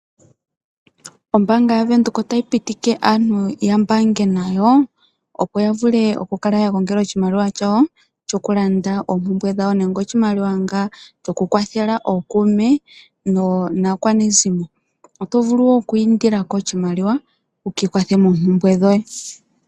Ombaanga yaVenduka otayi pitike aantu ya mbaange nayo, opo ya vule okukala ya gongela oshimaliwa shawo shokulanda oompumbwe dhawo nenge oshimaliwa shokukwathela ookuume naakwanezimo. Oto vulu wo oku indila ko oshimaliwa wu ka ikwathe moompumbwe dhoye.